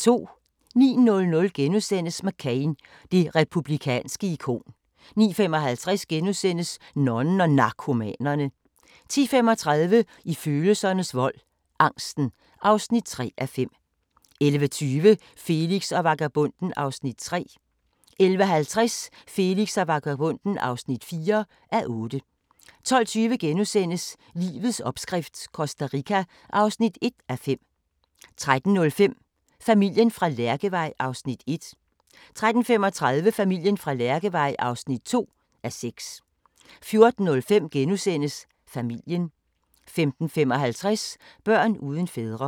09:00: McCain – det republikanske ikon * 09:55: Nonnen og Narkomanerne * 10:35: I følelsernes vold - angsten (3:5) 11:20: Felix og vagabonden (3:8) 11:50: Felix og vagabonden (4:8) 12:20: Livets opskrift - Costa Rica (1:5)* 13:05: Familien fra Lærkevej (1:6) 13:35: Familien fra Lærkevej (2:6) 14:05: Familien * 15:55: Børn uden fædre